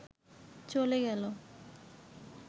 চলে গেল